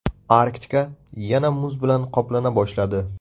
Arktika yana muz bilan qoplana boshladi.